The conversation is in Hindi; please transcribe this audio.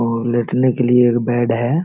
और लेटने के लिए एक बेड है।